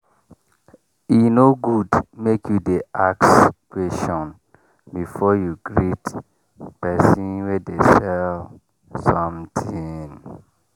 e no good make you dey ask question before you greet persin wey dey sell something.